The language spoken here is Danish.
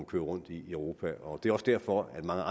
kører rundt i europa og det er formentlig også derfor at mange